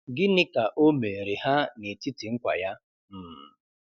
Gịnị ka o meere ha n’etiti nkwa ya um